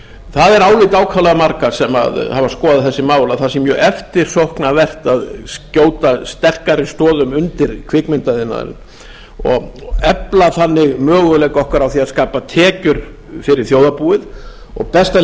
það er álit ákaflega margra sem að hafa skoðað þessi mál að það sé mjög eftirsóknarvert að skjóta sterkari stoðum undir kvikmyndaiðnaðinn og efla þannig möguleika okkar á að skapa tekjur fyrir þjóðarbúið og besta leiðin